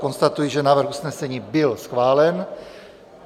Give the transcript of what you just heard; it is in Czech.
Konstatuji, že návrh usnesení byl schválen.